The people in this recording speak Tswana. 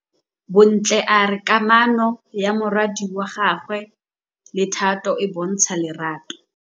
Bontle a re kamanô ya morwadi wa gagwe le Thato e bontsha lerato.